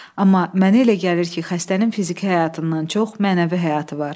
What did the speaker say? Amma mənə elə gəlir ki, xəstənin fiziki həyatından çox mənəvi həyatı var.